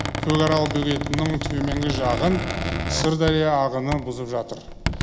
көкарал бөгетінің төменгі жағын сырдария ағыны бұзып жатыр